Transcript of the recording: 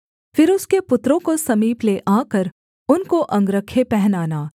फिर उसके पुत्रों को समीप ले आकर उनको अंगरखे पहनाना